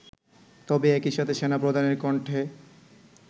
তবে একইসাথে সেনাপ্রধানের কণ্ঠে